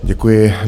Děkuji.